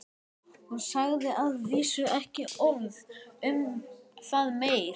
Hún sagði að vísu ekki orð um það meir.